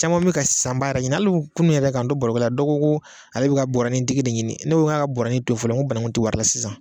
Caman min ka sanbaa yɛrɛ ɲini hali kunun yɛrɛ k'an don barokɛla dɔ ko ko ale bi ka bɔrɔnin tigi de ɲini, ne ko n ka bɔrɔnin to yen fɔlɔ, n ko bananku ti wari la sisan